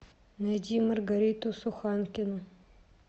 найди маргариту суханкину